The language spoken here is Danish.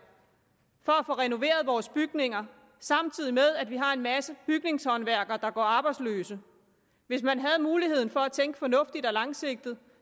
for at få renoveret vores bygninger samtidig med at vi har en masse bygningshåndværkere der går arbejdsløse hvis man havde muligheden for at tænke fornuftigt og langsigtet